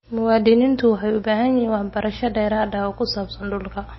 Muwaadiniintu waxay u baahan yihiin waxbarasho dheeraad ah oo ku saabsan dhulka.